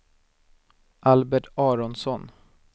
Albert Aronsson